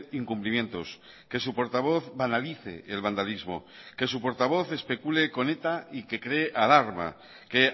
incumplimientos que su portavoz banalice el vandalismo que su portavoz especule con eta y que cree alarma que